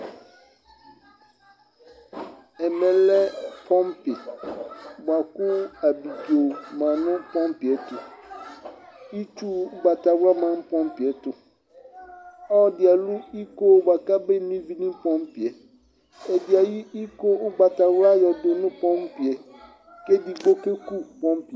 ɛmɛ lɛ pɔmpi boa kò abidzo ma no pɔmpi yɛ to itsu ugbata wla ma no pɔmpi yɛ to ɔloɛdi alò iko boa k'abe no ivi no pɔmpi yɛ ɛdi ayi iko ugbata wla yɔ do no pɔmpi yɛ k'edigbo ke ku pɔmpi yɛ